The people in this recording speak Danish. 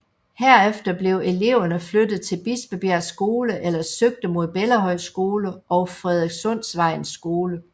Herefter blev eleverne flyttet til Bispebjerg Skole eller søgte mod Bellahøj Skole og Frederikssundsvejens Skole